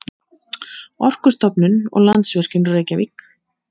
Orkustofnun og Landsvirkjun, Reykjavík.